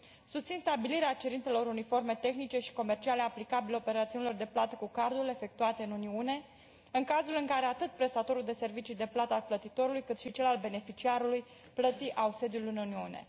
Susțin stabilirea cerințelor uniforme tehnice și comerciale aplicabile operațiunilor de plată cu cardul efectuate în Uniune în cazul în care atât prestatorul de servicii de plată al plătitorului, cât și cel al beneficiarului plății au sediul în Uniune.